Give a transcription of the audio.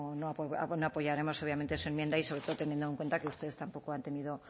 bueno no apoyaremos obviamente su enmienda y sobre todo teniendo en cuenta que ustedes tampoco han tenido